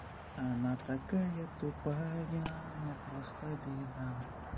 она такая тупая но просто беда